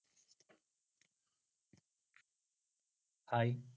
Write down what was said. Hi